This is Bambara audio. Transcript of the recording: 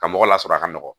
Ka mɔgɔ lasɔrɔ a ka nɔgɔn